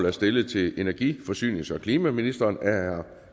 er stillet til energi forsynings og klimaministeren af herre